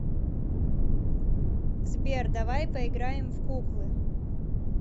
сбер давай поиграем в куклы